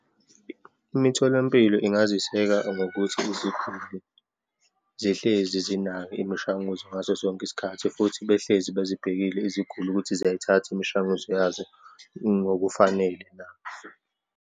Imitholampilo ingaziseka ngokuthi iziguli zihlezi zinayo imishanguzo ngaso sonke isikhathi, futhi behlezi bezibhekile iziguli ukuthi ziyayithatha imishanguzo yazo ngokufanele na.